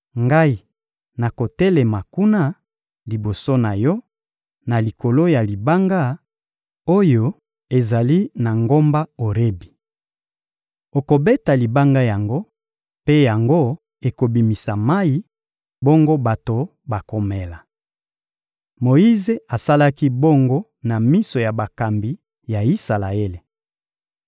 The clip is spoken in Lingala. Ngai nakotelema kuna, liboso na yo, na likolo ya libanga oyo ezali na ngomba Orebi. Okobeta libanga yango, mpe yango ekobimisa mayi, bongo bato bakomela. Moyize asalaki bongo na miso ya bakambi ya Isalaele.